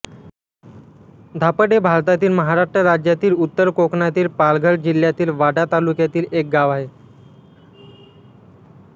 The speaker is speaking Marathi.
धापड हे भारतातील महाराष्ट्र राज्यातील उत्तर कोकणातील पालघर जिल्ह्यातील वाडा तालुक्यातील एक गाव आहे